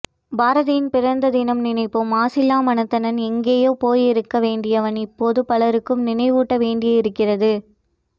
பாரதியின் பிறந்த தினம் நினைப்போம் மாசிலா மனத்தனன் எங்கோ போய் இருக்க வேண்டியவன் இப்போது பலருக்கும் நினைவூட்ட வேண்டி இருகிறது